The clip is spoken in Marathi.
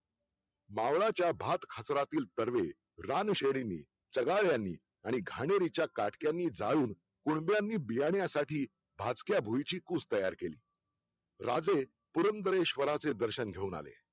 मावळाच्या भात खाचरातील सर्वे रानश्रेणी चंगाळ्यानी आणि खाणीरीच्या काठ्यांनी जाळून कोड्यांनी बियाणासाठी भाजक्या भुईची पुस तयार केली राजे पुरंदरश्वराचे दर्शन घेऊन आले